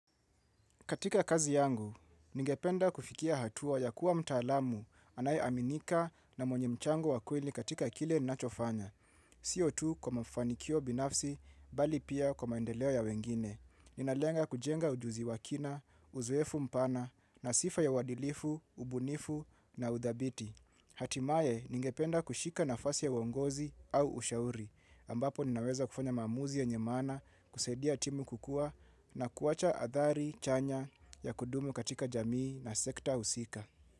Katika kazi yangu, ningependa kufikia hatua ya kuwa mtaalamu, anayeaminika na mwenye mchango wa kweli katika kile ninachofanya. Sio tu kwa mafanikio binafsi, bali pia kwa maendeleo ya wengine. Ninalenga kujenga ujuzi wakina, uzowefu mpana, nasifa ya wadilifu, ubunifu na udhabiti. Hatimaye ningependa kushika nafasi ya uongozi au ushauri. Ambapo ninaweza kufanya maamuzi yenye maana kusaidia timu kukua na kuwacha adhari chanya ya kudumu katika jamii na sekta husika.